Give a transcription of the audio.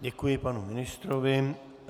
Děkuji panu ministrovi.